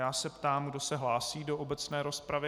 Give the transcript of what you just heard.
Já se ptám, kdo se hlásí do obecné rozpravy.